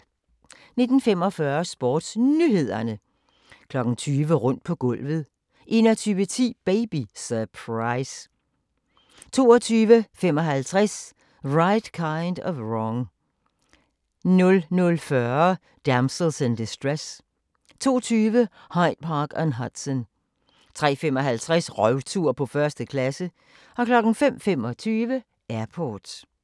19:45: SportsNyhederne 20:00: Rundt på gulvet 21:10: Baby Surprise 22:55: Right Kind of Wrong 00:40: Damsels in Distress 02:20: Hyde Park on Hudson 03:55: Røvtur på 1. klasse 05:25: Airport